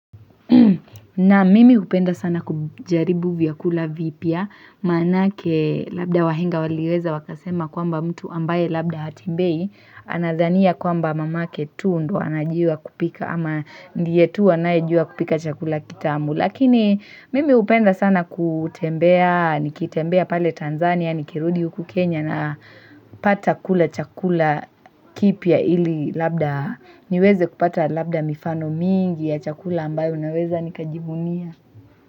Naam mimi hupenda sana kujaribu vyakula vipya maanake labda wahenga waliweza wakasema kwamba mtu ambaye labda hatembei anadhania kwamba mamake tu ndo anajua kupika ama ndiye tu anayejua kupika chakula kitamu. Lakini mimi hupenda sana kutembea, nikitembea pale Tanzania, nikirudi huku Kenya na pata kula chakula kipya ili labda niweze kupata labda mifano mingi ya chakula ambayo naweza nikajivunia.